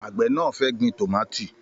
Àgbẹ̀ náà fẹ́ gbin tómáatí